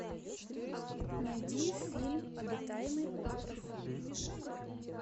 найди фильм обитаемый остров